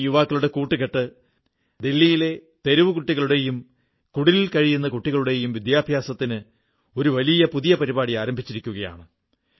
ഈ യുവാക്കളുടെ കൂട്ടുകെട്ട് ദല്ലിയിലെ തെരുവു കുട്ടികളുടെയും കുടിലുകളിൽ കഴിയുന്ന കുട്ടികളുടെയും വിദ്യാഭ്യാസത്തിന് ഒരു വലിയ പരിപാടി ആരംഭിച്ചിരിക്കയാണ്